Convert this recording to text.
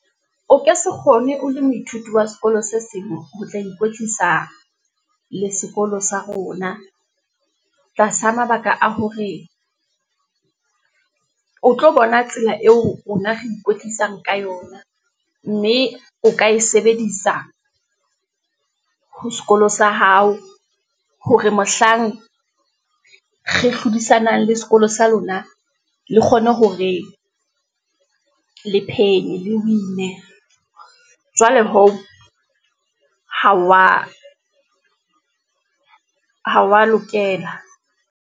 O ka se kgone o le moithuti wa sekolo se seng, ho tla ikwetlisa le sekolo sa rona, tlasa mabaka a hore o tlo bona tsela eo rona re ikwetlisang ka yona, mme o ka e sebedisa ho sekolo sa hao, hore mohlang re hlodisanang le sekolo sa lona, le kgone ho re le phenyo le win-e. Jwale hoo, ha wa lokela.